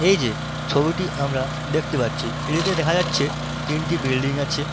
এই যে ছবিটি আমরা দেখতে পাচ্ছি এটিতে দেখা যাচ্ছে তিনটি বিল্ডিং আছে।